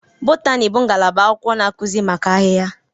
Botani bụ ngalaba agụmakwụkwọ na akuzi maka ahịhịa.